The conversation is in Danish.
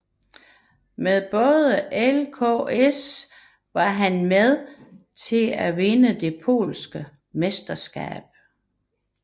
Med både ŁKS og Polonia var han med til at vinde det polske mesterskab